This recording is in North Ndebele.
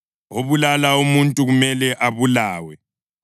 Obulala umuntu kumele abulawe.